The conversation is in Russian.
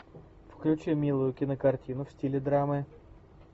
включи милую кинокартину в стиле драмы